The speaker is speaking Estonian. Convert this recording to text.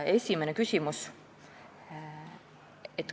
Esimene küsimus.